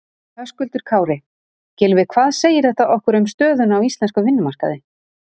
Höskuldur Kári: Gylfi hvað segir þetta okkur um stöðuna á íslenskum vinnumarkaði?